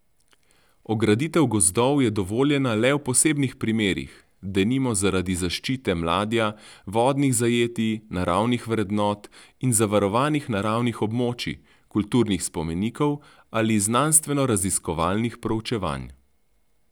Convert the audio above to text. Ograditev gozdov je dovoljena le v posebnih primerih, denimo zaradi zaščite mladja, vodnih zajetij, naravnih vrednot in zavarovanih naravnih območij, kulturnih spomenikov ali znanstvenoraziskovalnih proučevanj.